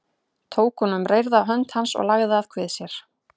Tók hún um reyrða hönd hans og lagði að kvið sér.